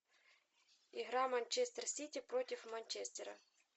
игра манчестер сити против манчестера